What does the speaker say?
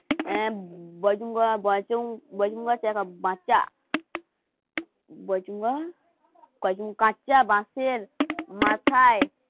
অ্যা কাঁচা বাঁশের মাথায়